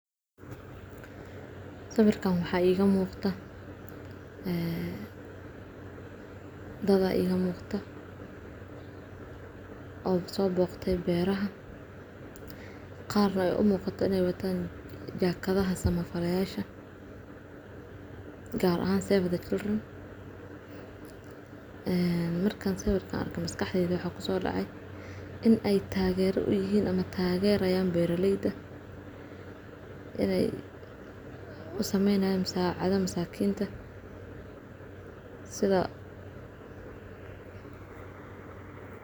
Sawirkan waxa iiga muuqata, ah, dada iiga muuqata oo soo booqtay beeraha. Qaar no ay u muuqata neewataan, jaaqadaha sama faryayaasha, gaar ahaan Seeveda Killirn. Eh, markaan seeverka arkay maskaxda iyo wax ku soo dhacay inay taageero u yihiin ama taageerayaan beerrayda inay u samaynayo masaacada masaakiinta. Sidoo.